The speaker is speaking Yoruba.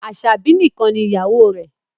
Aṣabi nìkàn ní ìyàwó rẹ